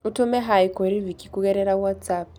ũtũme hi kũrĩ vikki kũgerera watsapp